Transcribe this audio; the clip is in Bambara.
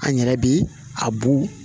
An yɛrɛ bɛ a bu